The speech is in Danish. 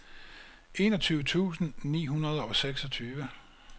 enogtyve tusind ni hundrede og seksogtyve